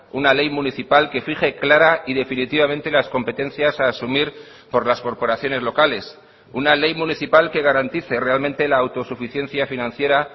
una ley municipal que fije clara y definitivamente las competencias a asumir por las corporaciones locales una ley municipal que garantice realmente la autosuficiencia financiera